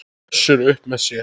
Össur upp með sér.